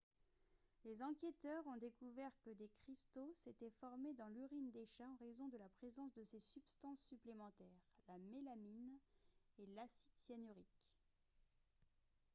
les enquêteurs ont découvert que des cristaux s'étaient formés dans l'urine des chats en raison de la présence de ces substances supplémentaires la mélamine et l'acide cyanurique